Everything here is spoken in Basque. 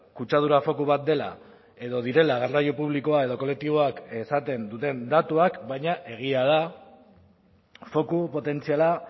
kutsadura foku bat dela edo direla garraio publikoa edo kolektiboak esaten duten datuak baina egia da foku potentziala